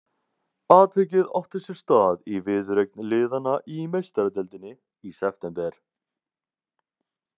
Atvikið átti sér stað í viðureign liðanna í Meistaradeildinni í september.